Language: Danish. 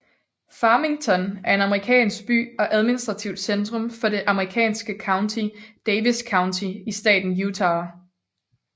Farmington er en amerikansk by og administrativt centrum for det amerikanske county Davis County i staten Utah